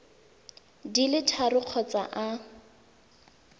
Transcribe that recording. di le tharo kgotsa a